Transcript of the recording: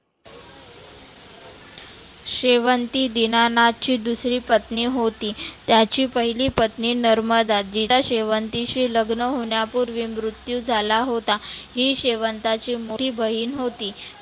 शेवंती दिनानाथची दुसरी पत्नी होती. त्याची पहिली पत्नी नर्मदा, शेवंतीशी लग्न होण्यापुर्वी मृत्यु झाला होता. ही शेवंताची मोठी बहिण होती.